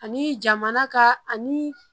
Ani jamana ka ani